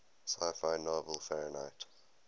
sci fi novel fahrenheit